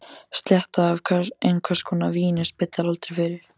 Sletta af einhvers konar víni spillir aldrei fyrir.